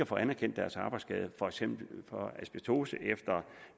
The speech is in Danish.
få anerkendt deres arbejdsskade for eksempel for asbestose efter